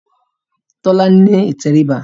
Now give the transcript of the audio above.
Tolani ní ìtẹríba